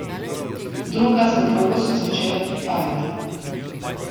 Druga za drugo so začele prihajati.